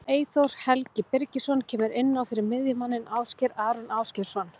Eyþór Helgi Birgisson kemur inn á fyrir miðjumanninn Ásgeir Aron Ásgeirsson.